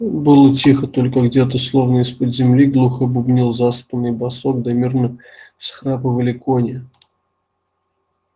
было тихо только где то словно из под земли глухо бубнил заспанный басок да мирно всхрапывали кони